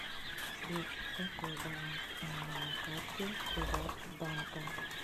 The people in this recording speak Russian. сбер какой баланс у меня на карте приват банка